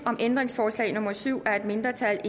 om ændringsforslag nummer syv af et mindretal